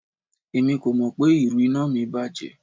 Emi ko mọ pe iru ina mi bajẹ